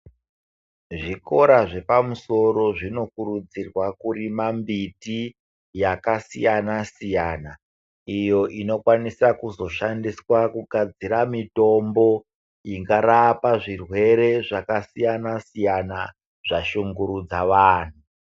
Zvikora zvepamusoro zvinokurudzirwa kurima mbiti yakasiyana-siyana iyo inokwanisa kuzoshandiswa kugadzira mitombo ingarapa zvirwere zvakasiyana -siyana zvashungurudza vanhu.